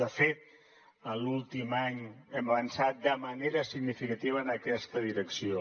de fet en l’últim any hem avançat de manera significativa en aquesta direcció